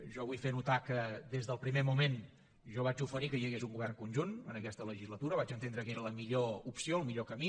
jo vull fer notar que des del primer moment jo vaig oferir que hi hagués un govern conjunt en aquesta legislatura vaig entendre que era la millor opció el millor camí